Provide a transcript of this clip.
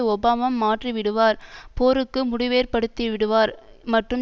Obama மாற்றிவிடுவார் போருக்கு முடிவேற்படுத்திவிடுவார் மற்றும்